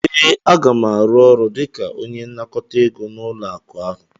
ee, Aga m arụ ọrụ dịka onye nnakọta ego n'ụlọ akụ ahụ